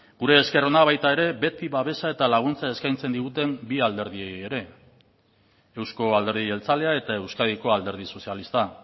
gure esker ona baita ere beti babesa eta laguntza eskaintzen diguten bi alderdiei ere euzko alderdi jeltzalea eta euskadiko alderdi sozialista